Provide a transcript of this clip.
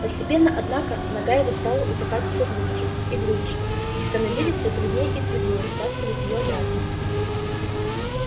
постепенно однако нога его стала утопать всё глубже и глубже и становились всё труднее и труднее вытаскивать её обратно